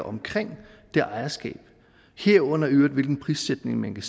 omkring det ejerskab herunder i øvrigt hvilken prissætning man kan